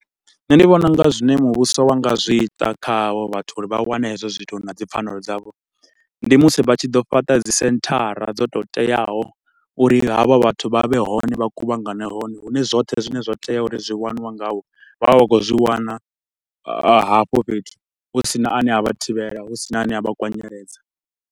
Nṋe ndi vhona unga zwine muvhuso wa nga zwi ita kha ha vho vhathu uri vha wane hezwo zwithu na dzipfanelo dzavho, ndi musi vha tshi ḓo fhaṱa dzisenthara dzo tou teaho uri ha vha vhathu vha vhe hone, vha kuvhangane hone. Hune zwoṱhe zwine zwa tea uri zwi waniwe nga vho, vha vhe vha khou zwi wana hafho fhethu, hu si na ane avha thivhela, hu si na ane avha kwanyeledza.